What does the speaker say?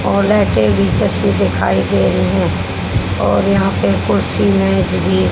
और लाइटे भी नीचे से दिखाई दे रहे हैं और यहां पर कुर्सी मेज भी--